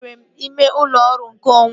Enwere m ime ụlọ ọrụ nke onwe m